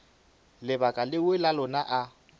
lebaka leo ka lona a